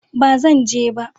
ba Zan je ba